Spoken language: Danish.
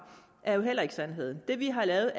er jo heller ikke sandheden det vi har lavet